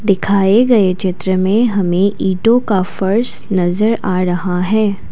दिखाए गए चित्र में हमें ईंटों का फर्श नजर आ रहा है।